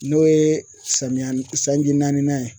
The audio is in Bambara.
N'o ye samiya sanji naaninan ye